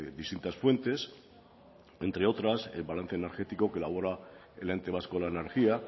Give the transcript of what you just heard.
distintas fuentes entre otras el balance energético que elabora el ente vasco de la energía